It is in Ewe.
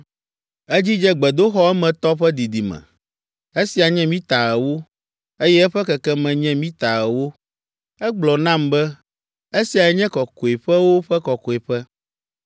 Edzidze gbedoxɔ emetɔ ƒe didime; esia nye mita ewo, eye eƒe kekeme nye mita ewo. Egblɔ nam be, “Esiae nye Kɔkɔeƒewo ƒe Kɔkɔeƒe.”